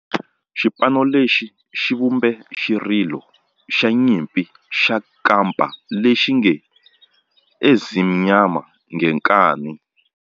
Xipano lexi xi vumbe xirilo xa nyimpi xa kampa lexi nge 'Ezimnyama Ngenkani'.